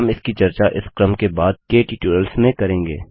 हम इसकी चर्चा इस क्रम के बाद के टूयटोरियल्स में करेंगे